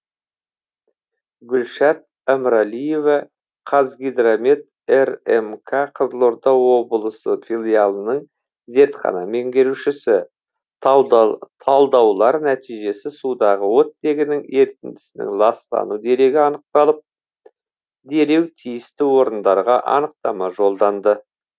гүлшат әміралиева қазгидромет рмк қызылорда облысы филиалының зертхана меңгерушісі талдаулар нәтижесі судағы оттегінің ерітіндісінің ластану дерегі анықталып дереу тиісті орындарға анықтама жолданды